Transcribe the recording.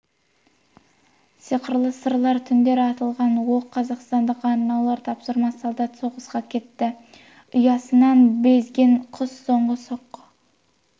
сиқырлы сырлар түнде атылған оқ қастандық арнаулы тапсырма солдат соғысқа кетті ұясынан безген құс соңғы соққы